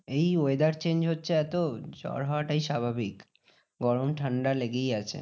এই weather change হচ্ছে এত জ্বর হওয়াটাই স্বাভাবিক। গরম ঠান্ডা লেগেই আছে।